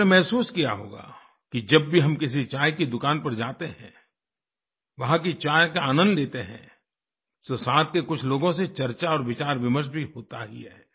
आपने महसूस किया होगा कि जब भी हम किसी चाय की दुकान पर जाते हैं वहाँ की चाय का आनंद लेते हैं तो साथ के कुछ लोगों से चर्चा और विचारविमर्श भी होता ही है